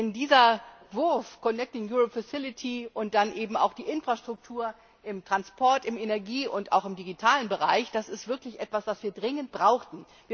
Denn dieser Wurf und dann eben auch die Infrastruktur im Transport im Energie und im digitalen Bereich das ist wirklich etwas, was wir dringend brauchten.